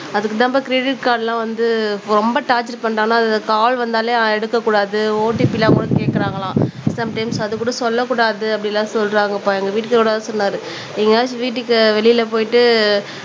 அதுக்குதான்ப்பா credit card எல்லாம் வந்து ரொம்ப டார்ச்சர் பண்றாங்க அதுல கால் வந்தாலே எடுக்கக் கூடாது OTP ல கூட கேக்கறாங்களாம் சம்டைம்ஸ் அதுகூட சொல்லக் கூடாது அப்படி எல்லாம் சொல்றாங்கப்பா எங்க வீட்டுகாரர் கூட சொன்னாரு எங்கயாச்சும் வீட்டுக்கு வெளியிலே போயிட்டு